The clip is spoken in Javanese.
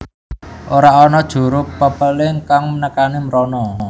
Ora ana juru pepéling kang nekani mrono